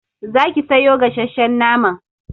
Za ki sayo gasshen naman!